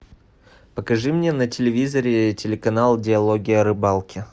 покажи мне на телевизоре телеканал диалоги о рыбалке